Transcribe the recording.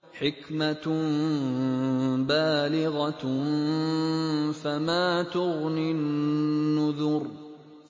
حِكْمَةٌ بَالِغَةٌ ۖ فَمَا تُغْنِ النُّذُرُ